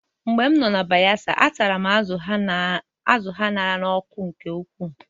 Mgbe m nọ na Bayelsa, a tara m azụ̀ a ṅara n'ọkụ nke ukwuu